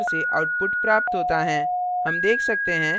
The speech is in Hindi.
हमें निम्न प्रकार से output प्राप्त होता हैं